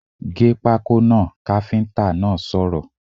Gé pákó náà! káfíntà náà sọ̀rọ̀